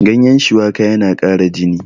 ganyen shuwaka yana ƙara jini